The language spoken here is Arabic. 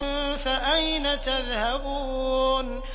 فَأَيْنَ تَذْهَبُونَ